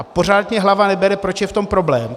A pořád mi hlava nebere, proč je v tom problém.